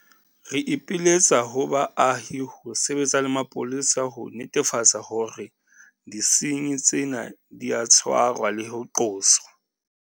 Re ipiletsa ho baahi ho sebetsa le mapolesa ho netefatsa hore disenyi tsena di a tshwarwa le ho qoswa.